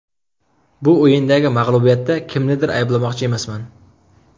Bu o‘yindagi mag‘lubiyatda kimnidir ayblamoqchi emasman.